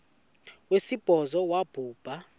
wesibhozo wabhu bha